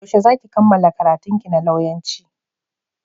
Yaushe za ki kammala karantunki na lauyanci?